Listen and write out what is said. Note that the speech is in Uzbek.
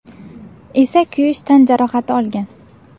esa kuyish tan jarohati olgan.